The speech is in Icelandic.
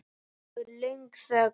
Nú er löng þögn.